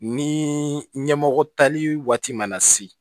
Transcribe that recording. Ni ɲɛmɔgɔ tali waati mana se